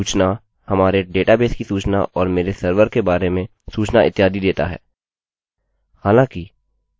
यहाँ हम मेरी सर्विस सेवा मेरे डेटाबेस के अंदर देखेंगे